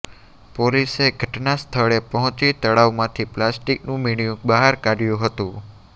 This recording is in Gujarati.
પોલીસે ઘટના સ્થળે પહોંચી તળાવમાંથી પ્લાસ્ટીકનુ મીણીયું બહાર કાઢ્યું હતું